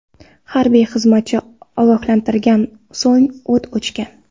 Harbiy xizmatchi ogohlantirgan, so‘ng o‘t ochgan.